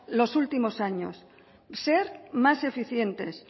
los últimos años ser más eficientes